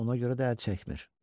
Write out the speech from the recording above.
Ona görə də əl çəkmir.